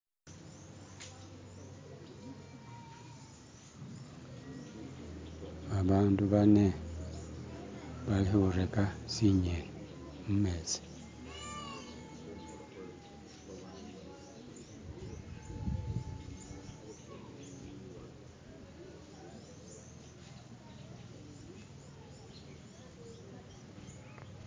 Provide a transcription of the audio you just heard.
Abantu bane bali kutega zinyeni mumezi